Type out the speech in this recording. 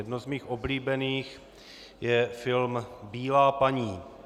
Jedno z mých oblíbených je film Bílá paní.